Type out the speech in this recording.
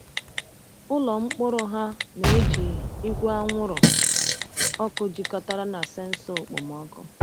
Ụlọ mkpụrụ ha na-eji igwe anwụrụ ọkụ jikọtara na sensọ okpomọkụ.